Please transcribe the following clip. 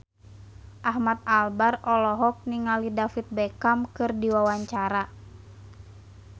Ahmad Albar olohok ningali David Beckham keur diwawancara